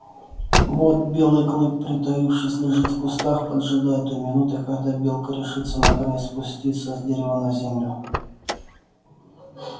вот белый клык притаившись лежит в кустах поджидая той минуты когда белка решится наконец спуститься с дерева на землю